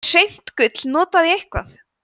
er hreint gull notað í eitthvað